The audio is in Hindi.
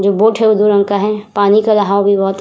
जो बोट है वह दो रंग का है। पानी का दहाव भी बोहोत --